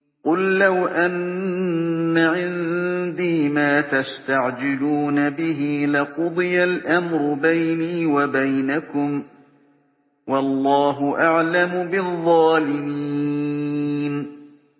قُل لَّوْ أَنَّ عِندِي مَا تَسْتَعْجِلُونَ بِهِ لَقُضِيَ الْأَمْرُ بَيْنِي وَبَيْنَكُمْ ۗ وَاللَّهُ أَعْلَمُ بِالظَّالِمِينَ